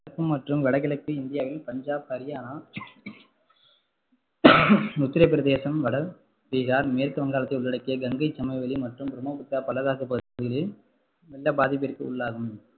மற்றும் வடகிழக்கு இந்தியாவின் பஞ்சாப், ஹரியானா, உத்திரபிரதேசம், வடபீகார், மேற்கு வங்காளத்தை உள்ளடக்கிய கங்கை சமவெளி மற்றும் பிரம்மபுத்திரா பள்ளத்தாக்கு பகுதிகள் வெள்ள பாதிப்புக்கு உள்ளாகும்